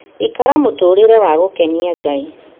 Ikara mũtũũrĩre wa gũkenia Ngai